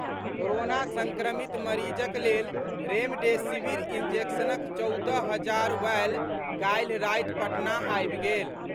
Corona संक्रमित मरीजक लेल रेमडेसिविर इंजेक्शनक चौदह हजार वॉयल काल्हि राति पटना अबि गेल।